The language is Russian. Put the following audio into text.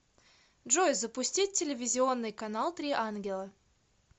джой запустить телевизионный канал три ангела